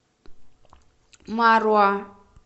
маруа